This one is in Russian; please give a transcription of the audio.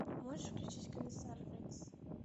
можешь включить комиссар рекс